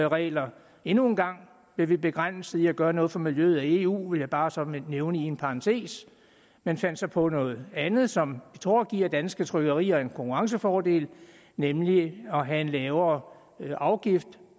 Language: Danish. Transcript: regler endnu en gang bliver vi begrænset i at gøre noget for miljøet af eu vil jeg bare sådan nævne i en parentes man fandt så på noget andet som vi tror giver danske trykkerier en konkurrencefordel nemlig at have en lavere afgift